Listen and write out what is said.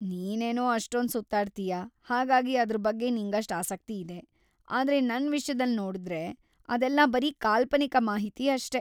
ನೀನೇನೋ ಅಷ್ಟೊಂದ್‌ ಸುತ್ತಾಡ್ತೀಯ, ಹಾಗಾಗಿ ಅದ್ರ ಬಗ್ಗೆ ನಿಂಗಷ್ಟ್ ಆಸಕ್ತಿ ಇದೆ. ಆದ್ರೆ ನನ್ ವಿಷ್ಯದಲ್ ನೋಡ್ದ್ರೆ, ಅದೆಲ್ಲ ಬರೀ ಕಾಲ್ಪನಿಕ ಮಾಹಿತಿ ಅಷ್ಟೇ.